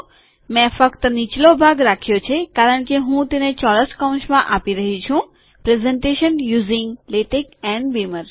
મેં ફક્ત નીચલો ભાગ રાખ્યો છે કારણ કે હું તેને ચોરસ કૌંસમાં આપી રહ્યો છું presentation using LaTeX and beamer